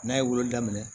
N'a ye wolo daminɛ